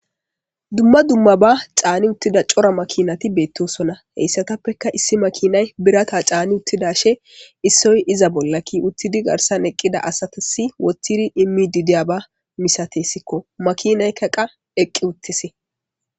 Dumma dummaba caanida uttida cora makinati beetosona hessatappeka issi makinay birata caani uttidashin issoy iza bolla kiyi uttidi garssan eqqida asatasi wothidi immidi diyaba misatesko makinayka qa eqqi uttisi.